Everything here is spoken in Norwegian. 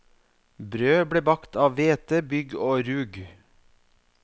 Brød ble bakt av hvete, bygg og rug.